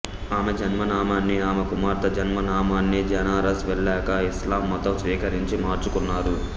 ఆమె జన్మనామాన్ని ఆమె కుమార్తె జన్మనామాన్ని బెనారస్ వెళ్ళాకా ఇస్లాం మతం స్వీకరించి మార్చుకున్నారు